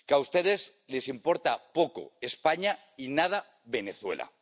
Que a ustedes les importa poco España y nada Venezuela.